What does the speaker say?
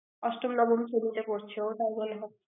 অষ্টম নবম শ্রেণীতে পড়ছে ওটাই মনে হয়